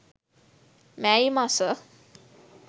මැයි මස